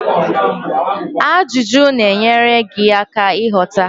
Ajụjụ na-enyere gị aka ịghọta